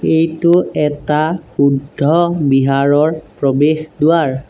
এইটো এটা বুদ্ধ বিহাৰৰ প্ৰৱেশ দুৱাৰ।